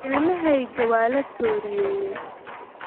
Ilmahayga waa la tooriyeeyay